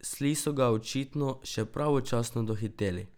Sli so ga očitno še pravočasno dohiteli.